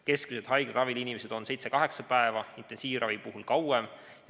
Keskmiselt on inimesed haiglaravil seitse-kaheksa päeva, intensiivravi puhul kauem.